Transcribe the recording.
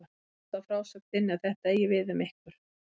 Mér sýnist á frásögn þinni að þetta eigi við um ykkur.